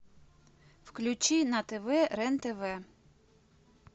включи на тв рен тв